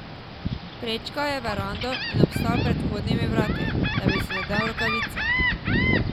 Prečkal je verando in obstal pred vhodnimi vrati, da bi si nadel rokavice.